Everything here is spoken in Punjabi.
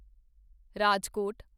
ਰਾਜਕੋਟ